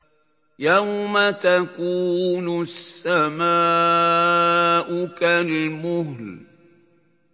يَوْمَ تَكُونُ السَّمَاءُ كَالْمُهْلِ